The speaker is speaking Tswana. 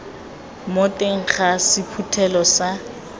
mo teng ga sephuthelo sa